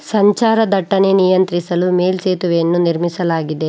ಸಂಚಾರ ದಟ್ಟನೆ ನಿಯಂತ್ರಿಸಲು ಮೇಲ್ ಸೇತುವೆಯನ್ನು ನಿರ್ಮಿಸಲಾಗಿದೆ.